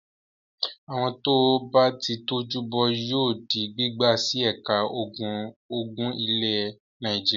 Àwọn tó bá ti tọ́jú bọ́ yóò di gbígbà sí ẹ̀ka ogun ilẹ̀ Nàìjíríà.